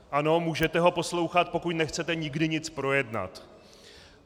Ano, můžete ho poslouchat, pokud nechcete nikdy nic projednat.